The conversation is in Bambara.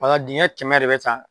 Bala dingɛ kɛmɛ de bɛ ta